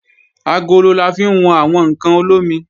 Agolo la fi wọn àwọn ǹkan olómi